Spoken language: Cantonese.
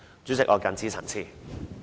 主席，我謹此陳辭。